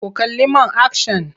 Ku kalli man akshan!